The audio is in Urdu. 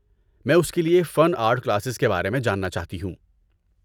میں اس کے لیے فن آرٹ کلاسز کے بارے میں جاننا چاہتی ہوں۔